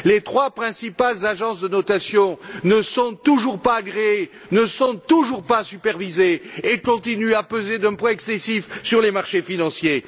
Les trois principales agences de notation ne sont toujours pas agréées, ne sont toujours pas supervisées et continuent à peser d'un poids excessif sur les marchés financiers.